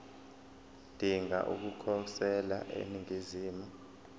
odinga ukukhosela eningizimu